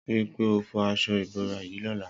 Ri pé ó fọ aṣọ ibórá yi lọlá